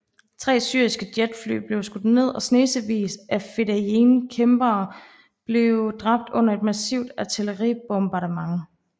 Tre syriske jetfly blev skudt ned og snesevis af fedayeen kæmpere blev dræbt under et massivt artilleribombardement